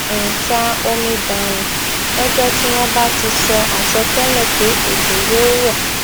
n ta omi dànù lọjọ tí wọn bá ti sọ àsọtẹlẹ pé òjò yóò rọ